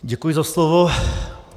Děkuji za slovo.